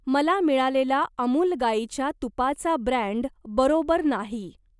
मला मिळालेला अमूल गाईच्या तुपाचा ब्रँड बरोबर नाही.